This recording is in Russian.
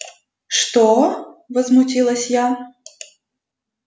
что возмутилась я